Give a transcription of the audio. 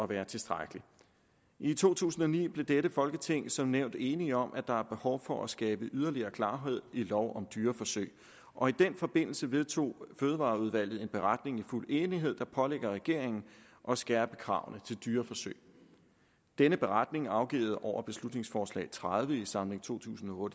være tilstrækkeligt i to tusind og ni blev dette folketing som nævnt enige om at der er behov for at skabe yderligere klarhed i lov om dyreforsøg og i den forbindelse vedtog fødevareudvalget en beretning i fuld enighed der pålægger regeringen at skærpe kravene til dyreforsøg denne beretning er afgivet over beslutningsforslag nummer tredive i samlingen to tusind og